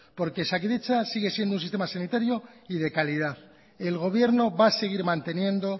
porque osakidetza sigue siendo un sistema sanitario y de calidad el gobierno va a seguir manteniendo